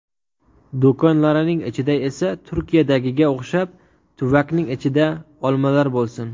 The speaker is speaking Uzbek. Do‘konlarining ichida esa Turkiyadagiga o‘xshab, tuvakning ichida olmalar bo‘lsin.